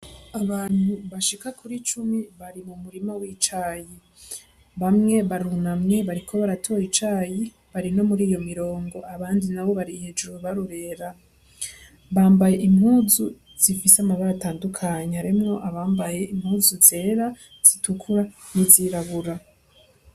Abantu bashika kuri cumi bari mu murima w'icayi bamwe barunamye bariko baratora icayi bari nomuriyo mirongo abandi nabo bari hejuru barorera bambaye impuzu zifise amabara atandukanye harimwo abambaye impuzu zera zitukura nizirabura